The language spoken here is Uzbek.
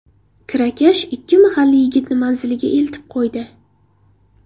Kirakash ikki mahalliy yigitni manziliga eltib qo‘ydi.